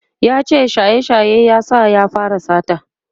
yace shaye shaye ya sa ya fara sata